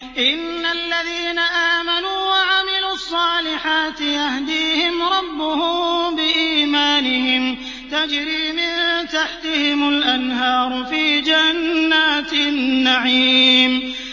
إِنَّ الَّذِينَ آمَنُوا وَعَمِلُوا الصَّالِحَاتِ يَهْدِيهِمْ رَبُّهُم بِإِيمَانِهِمْ ۖ تَجْرِي مِن تَحْتِهِمُ الْأَنْهَارُ فِي جَنَّاتِ النَّعِيمِ